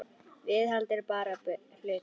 Viðhald er bara hlutur.